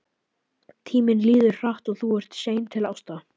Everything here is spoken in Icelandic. Tíminn líður hratt og þú ert sein til ásta.